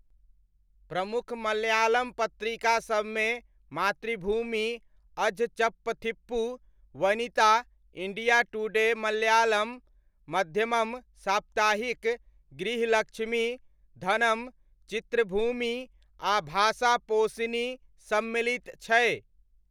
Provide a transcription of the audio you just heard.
प्रमुख मलयालम पत्रिकासबमे मातृभूमि अझचप्पथिप्पू, वनिता, इण्डिया टुडे मलयालम, मध्यमम साप्ताहिक, गृहलक्ष्मी, धनम, चित्रभूमि, आ भाषापोशिनी सम्मिलित छै।